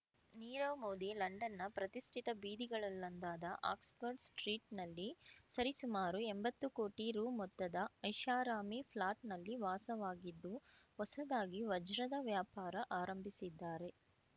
ನೀರವ್ ಮೋದಿ ಲಂಡನ್‌ನ ಪ್ರತಿಷ್ಠಿತ ಬೀದಿಗಳಲ್ಲೊಂದಾದ ಆಕ್ಸ್‌ಫರ್ಡ್ ಸ್ಟ್ರೀಟ್‌ನಲ್ಲಿ ಸರಿಸುಮಾರು ಎಂಬತ್ತು ಕೋಟಿ ರೂ ಮೊತ್ತದ ಐಷಾರಾಮಿ ಫ್ಲಾಟ್‌ನಲ್ಲಿ ವಾಸವಾಗಿದ್ದು ಹೊಸದಾಗಿ ವಜ್ರದ ವ್ಯಾಪಾರ ಆರಂಭಿಸಿದ್ದಾರೆ